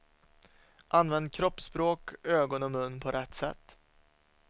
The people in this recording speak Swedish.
Använd kroppsspråk, ögon och mun på rätt sätt.